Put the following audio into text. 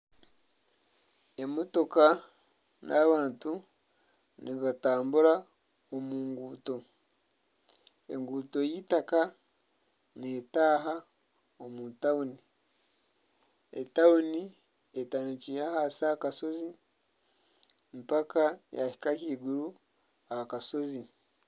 Emotooka n'abantu nibatambura omu nguuto enguuto y'eitaaka neetaaha omu tawuni, etawuni etandikire ahansi aha kashozi mpaka yahika ahaiguru aha kashozi.